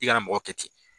I ka mɔgɔ kɛ ten